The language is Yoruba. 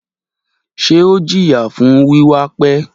Ṣe o jiya fun wiwa pẹ?